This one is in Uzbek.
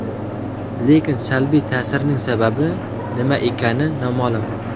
Lekin salbiy ta’sirning sababi nima ekani noma’lum.